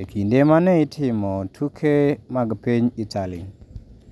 e kinde ma ne itimo tuke mag piny Italy.